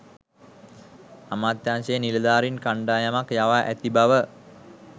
අමාත්‍යාංශයේ නිලධාරීන් කණ්ඩායමක් යවා ඇති බව